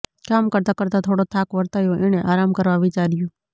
કામ કરતાં કરતાં થોડો થાક વર્તાયો એણે આરામ કરવા વિચાર્યું